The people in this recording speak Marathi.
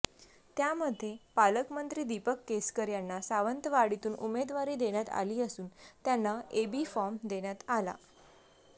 त्यामध्ये पालकमंत्री दीपक केसरकर यांना सावंतवाडीतून उमेदवारी देण्यात आली असून त्यांना एबी फॉर्म देण्यात आला